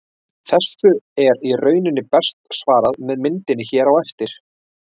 Þessu er í rauninni best svarað með myndinni hér á eftir.